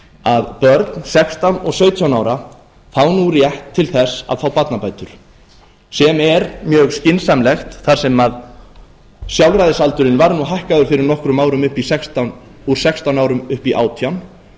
að börn sextán og sautján ára fá nú rétt til þess að fá barnabætur sem er mjög skynsamlegt þar sem sjálfræðisaldurinn var hækkaður fyrir nokkrum árum úr sextán árum upp í átján